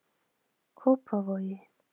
Kópavogi